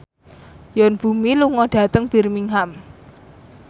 Yoon Bomi lunga dhateng Birmingham